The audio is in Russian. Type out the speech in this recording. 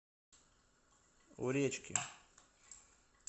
у речки